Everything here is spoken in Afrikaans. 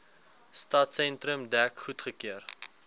stadsentrum dek goedgekeur